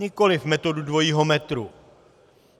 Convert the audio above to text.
Nikoliv metodu dvojího metru.